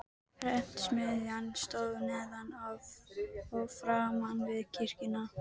Prentsmiðjan stóð neðan og framan við kirkjuna.